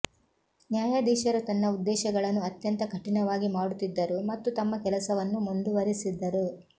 ನ್ಯಾಯಾಧೀಶರು ತನ್ನ ಉದ್ದೇಶಗಳನ್ನು ಅತ್ಯಂತ ಕಠಿಣವಾಗಿ ಮಾಡುತ್ತಿದ್ದರು ಮತ್ತು ತಮ್ಮ ಕೆಲಸವನ್ನು ಮುಂದುವರಿಸಿದರು